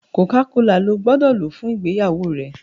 Coca-cola ló gbódò lò fún ìgbéyàwó rẹ!